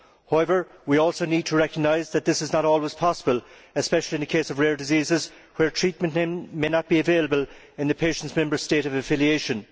However, we also need to recognise that this is not always possible, especially in the case of rare diseases, where treatment may not be available in the patient's Member State of affiliation.